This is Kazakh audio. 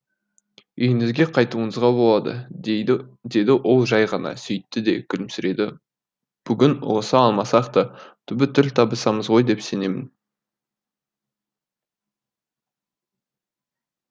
үйіңізге қайтуыңызға болады деді ол жай ғана сөйтті де күлімсіреді бүгін ұғыса алмасақ та түбі тіл табысамыз ғой деп сенемін